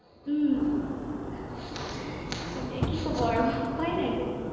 উম তাকে কি ক'ব আৰু উপায় নাই যে।